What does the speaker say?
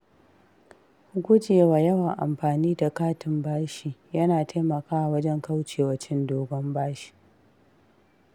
Gujewa yawan amfani da katin bashi yana taimakawa wajen kauce wa cin dogon bashi.